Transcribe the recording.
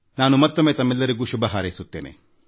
ನಾನು ಮತ್ತೊಮ್ಮೆ ತಮ್ಮೆಲ್ಲರಿಗೂ ಶುಭ ಹಾರೈಸುತ್ತೇನೆ